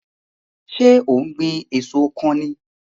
So ó ń gbìn èso kan ni?